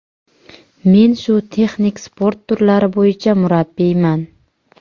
Men shu texnik sport turlari bo‘yicha murabbiyman.